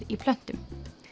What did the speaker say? í plöntum